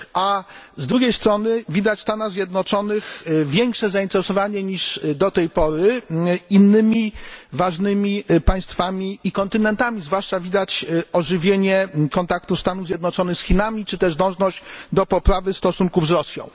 A z drugiej strony widać w Stanach Zjednoczonych większe zainteresowanie niż do tej pory innymi ważnymi państwami i kontynentami, zwłaszcza widać ożywienie kontaktów Stanów Zjednoczonych z Chinami czy też dążenie do poprawy stosunków z Rosją.